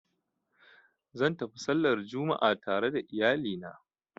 Zan tafi sallar Juma'a tare da iyali na